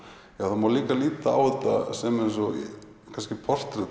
það má líka líta á sem kannski